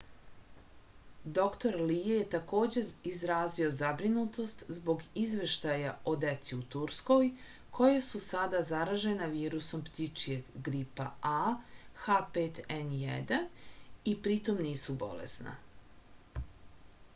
др ли је такође изразио забринутост због извештаја о деци у турској која су сада заражена вирусом птичијег грипа аh5n1 и притом нису болесна